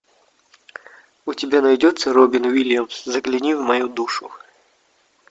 у тебя найдется робин уильямс загляни в мою душу